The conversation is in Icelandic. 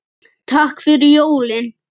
Takk fyrir jólin.